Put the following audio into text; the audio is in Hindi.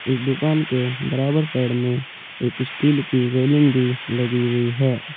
इस दुकान के बराबर साइड में एक स्टील की रेलिंग भी लगी हुई है।